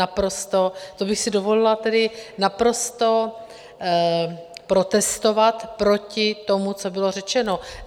Naprosto, to bych si dovolila tedy naprosto protestovat proti tomu, co bylo řečeno.